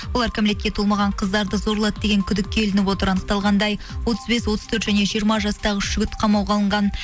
олар кәмелетке толмаған қыздарды зорлады деген күдікке ілініп отыр анықталғандай отыз бес отыз төрт және жиырма жастағы үш жігіт қамауға алынған